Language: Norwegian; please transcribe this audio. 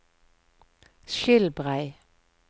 Skilbrei